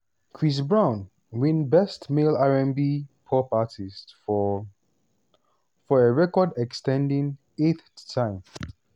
chris brown win best male r&b/pop artist for for a record-ex ten ding eighth time.